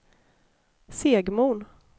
Segmon